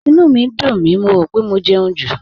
Ìnú mi ń dùn mí, mo rò pé mo jẹun jù